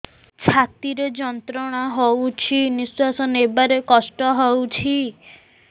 ଛାତି ରେ ଯନ୍ତ୍ରଣା ହଉଛି ନିଶ୍ୱାସ ନେବାରେ କଷ୍ଟ ହଉଛି